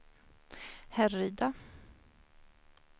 Härryda